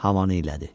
Havanı iylədi.